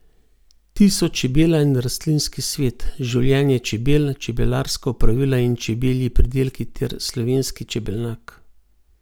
Ti so čebela in rastlinski svet, življenje čebel, čebelarska opravila in čebelji pridelki ter slovenski čebelnjak.